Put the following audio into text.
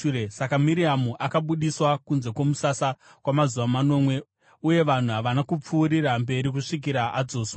Saka Miriamu akabudiswa kunze kwomusasa kwamazuva manomwe, uye vanhu havana kupfuurira mberi kusvikira adzoswa.